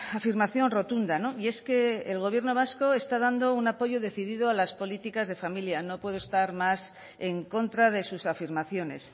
afirmación rotunda y es que el gobierno vasco está dando un apoyo decidido a las políticas de familia no puedo estar más en contra de sus afirmaciones